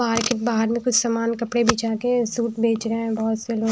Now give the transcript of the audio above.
market बाहर में कुछ सामान कपड़े बिछा के सूट बेच रहा है बहुत से लोग--